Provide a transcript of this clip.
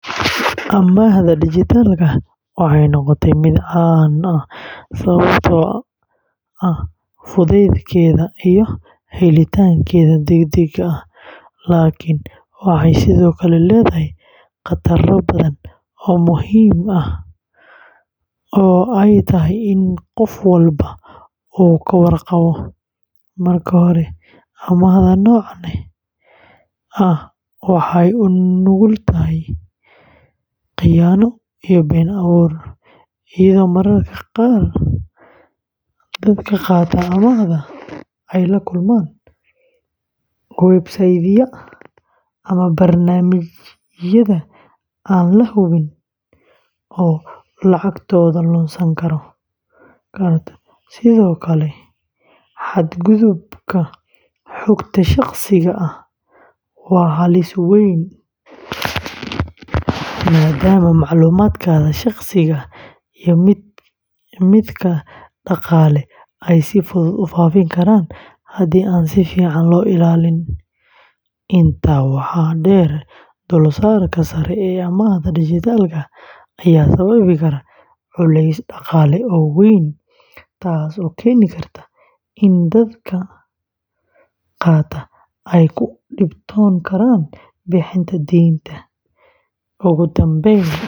Amaahda dijitaalka ah waxay noqotay mid caan ah sababtoo ah fudeydkeeda iyo helitaankeeda degdega ah, laakiin waxay sidoo kale leedahay khataro badan oo muhiim ah oo ay tahay in qof walba uu ka warqabo. Marka hore, amaahda noocan ah waxay u nugul tahay khiyaano iyo been abuur, iyadoo mararka qaar dadka qaata amaahda ay la kulmaan website-yada ama barnaamijyada aan la hubin oo lacagtooda lunsan karto. Sidoo kale, xadgudubka xogta shaqsiga ah waa halis weyn, maadaama macluumaadkaaga shaqsiga ah iyo midka dhaqaale ay si fudud u faafi karaan haddii aan si fiican loo ilaalin. Intaa waxaa dheer, dulsaarka sare ee amaahda dijitaalka ah ayaa sababi kara culays dhaqaale oo weyn, taas oo keeni karta in dadka qaata ay ku dhibtoon karaan bixinta deynta.